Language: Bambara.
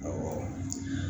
Awɔ